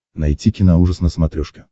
найти киноужас на смотрешке